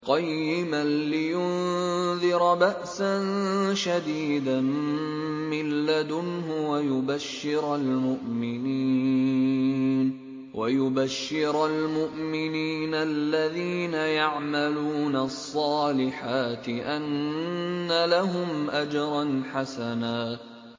قَيِّمًا لِّيُنذِرَ بَأْسًا شَدِيدًا مِّن لَّدُنْهُ وَيُبَشِّرَ الْمُؤْمِنِينَ الَّذِينَ يَعْمَلُونَ الصَّالِحَاتِ أَنَّ لَهُمْ أَجْرًا حَسَنًا